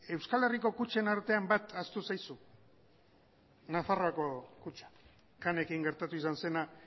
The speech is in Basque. euskal herriko kutxen artean bat ahaztu zaizu nafarroako kutxa canekin gertatu izan zena